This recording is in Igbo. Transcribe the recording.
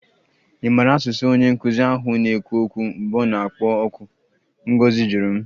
Ị maara asụsụ onye nkụzi ahụ na-ekwu okwu mgbe ọ na-akpọ oku? Ngozi jụrụ m